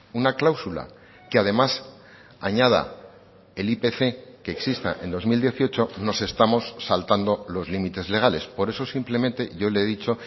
una cláusula que además añada el ipc que exista en dos mil dieciocho nos estamos saltando los límites legales por eso simplemente yo le he dicho